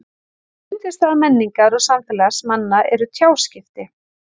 Ein undirstaða menningar og samfélags manna eru tjáskipti.